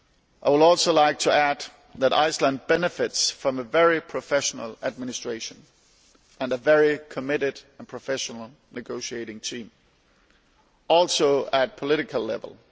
I would also like to add that Iceland benefits from a very professional administration and a very committed and professional negotiating team, also at political level.